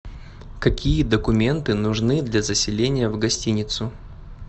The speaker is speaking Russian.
какие документы нужны для заселения в гостиницу